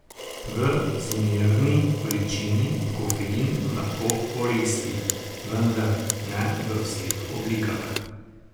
V zmerni količini kofein lahko koristi, vendar ne v vseh oblikah.